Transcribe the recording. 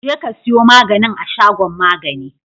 jekasiyo maganin a shagon magani